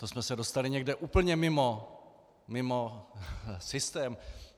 To jsme se dostali někam úplně mimo systém.